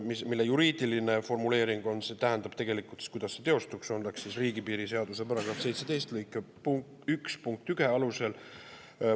Selle juriidiline formuleering, see tähendab, kuidas see teostuks, oleks riigipiiri seaduse § 17 lõike 1 punkti 1 alusel.